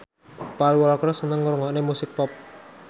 Paul Walker seneng ngrungokne musik pop